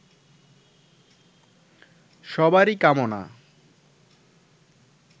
সবারই কামনা